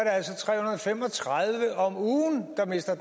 altså tre hundrede og fem og tredive om ugen der mister